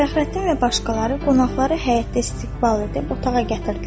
Fəxrəddin və başqaları qonaqları həyətdə istiqbal edib otağa gətirdilər.